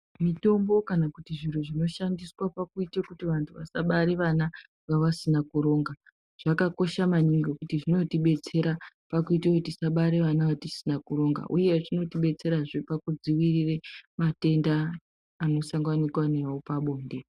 Mitombo kana kuti zviro zvinoshandiswa pakuite kuti vanthu vabare vana vavasina kuronga zvakakosha maningi ngekuti zvinotibatsira pakuti tisabara vana vatisina kuronga uyezve zvinotidetsera pakudzivirira matenda anosanganikwa nawo pabonde.